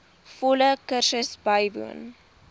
volle kursus bywoon